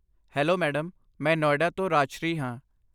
Hello madam, ਮੈਂ ਨੋਇਡਾ ਤੋਂ ਰਾਜਸ਼੍ਰੀ ਹਾਂ।